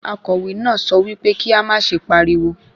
Akọ̀wé náà sọ wípé kí á má ṣe pariwo.